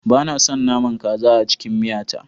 Ba na son naman kaza a cikin miya ta